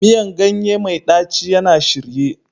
Miyan ganye mai ɗaci yana shirye